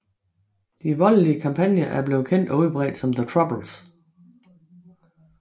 De voldelige kampagner er blevet kendt og udbredt som The Troubles